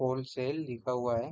Wholesale लिखा हुआ है।